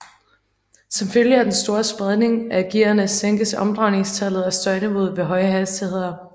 Som følge af den store spredning af gearene sænkes omdrejningstallet og støjniveauet ved høje hastigheder